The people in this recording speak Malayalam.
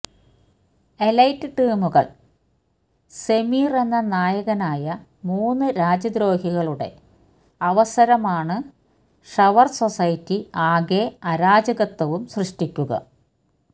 എലൈറ്റ് ടീമുകൾ സെമീര് എന്ന നായകനായ മൂന്നു രാജ്യദ്രോഹികളുടെ അവസരമാണ് ഷവർ സൊസൈറ്റി ആകെ അരാജകത്വവും സൃഷ്ടിക്കുക